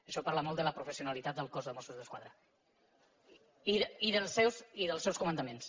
això parla molt de la professionalitat del cos de mossos d’esquadra i dels seus comandaments